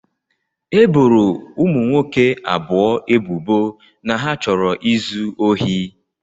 E boro ụmụ nwoke abụọ ebubo na ha chọrọ izu ohi